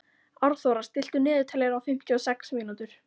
Árþóra, stilltu niðurteljara á fimmtíu og sex mínútur.